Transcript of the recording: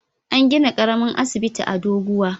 An gina ƙaramin asibiti a Doguwa.